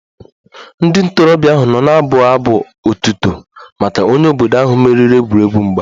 Ndị ntorobịa ahụ nọ na-abụ abụ otuto maka onye obodo ahụ meriri egwuregwu mgba